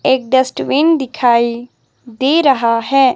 एक डस्टबिन दिखाई दे रहा है।